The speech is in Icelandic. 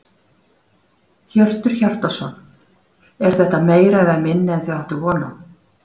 Hjörtur Hjartarson: Er þetta meira eða minna en þið áttuð von á?